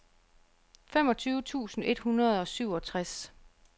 femogtyve tusind et hundrede og syvogtres